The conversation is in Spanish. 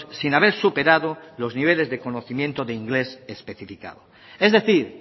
sin haber superado los niveles de conocimiento de inglés especificado es decir